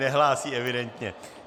Nehlásí, evidentně.